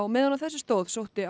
meðan á þessu stóð sótti